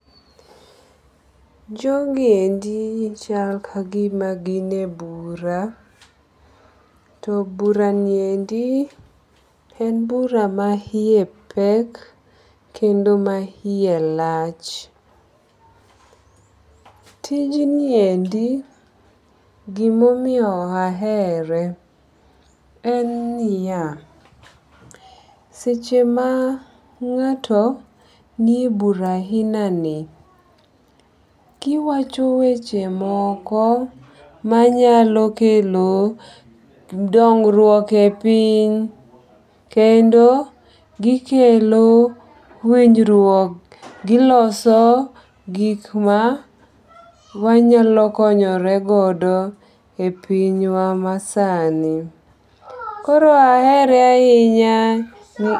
Jogi endi chal ka gima gin e bura. To bura ni endi en bura ma iye pek kendo ma iye lach. Tij niendi gimomiyo ahere en niya, seche ma ng'ato ni e bura ahina ni giwacho weche moko manyalo kelo dongruok e piny kendo gikelo winjruok, giloso gik ma wanyalo konyoregodo e pinywa ma sani. Koro ahere ahinya.